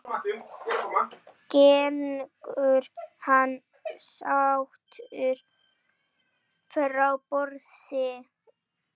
Gengur hann sáttur frá borði?